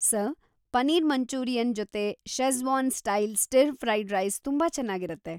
Sir, paneer Manchurian ಜೊತೆ schezwan style stir fried rice ತುಂಬಾ ಚೆನಾಗಿರತ್ತೆ.